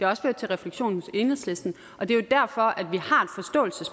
også ført til refleksion hos enhedslisten og det er jo derfor at vi